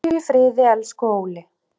Hvíldu í friði, elsku Óli.